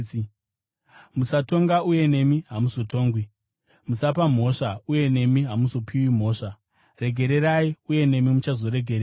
“Musatonga, uye nemi hamuzotongwi. Musapa mhosva, uye nemi hamuzopiwi mhosva. Regererai, uye nemi muchazoregererwawo.